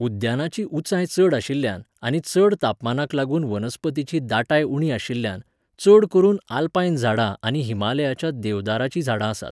उद्यानाची उंचाय चड आशिल्ल्यान आनी चड तापमानाक लागून वनस्पतीची दाटाय उणी आशिल्ल्यान, चड करून आल्पायन झाडां आनी हिमालयाच्या देवदाराचीं झाडां आसात.